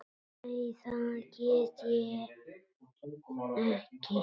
Nei, það get ég ekki.